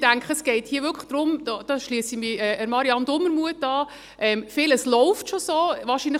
Ich denke es geht hier wirklich darum – da schliesse ich mich Marianne Dumermuth an –, dass vieles schon so läuft.